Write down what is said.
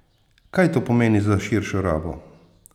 Kaj to pomeni za širšo rabo?